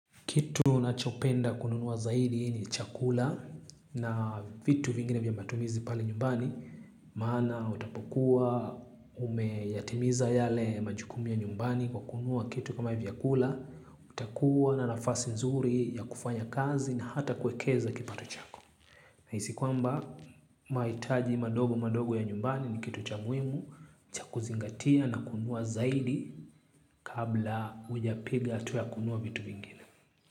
Kitu nachopenda kununua zaidi ni chakula na vitu vingine vya matumizi pale nyumbani. Maana utapokuwa umeyatimiza yale majukumu ya nyumbani kwa kununua kitu kama vyakula. Utakuwa na nafasi nzuri ya kufanya kazi na hata kuwekeza kipato chako. Nahisi kwamba mahitaji madogo madogo ya nyumbani ni kitu cha muhimu. Cha kuzingatia na kununua zaidi kabla hujapiga hatua ya kununua vitu vingine.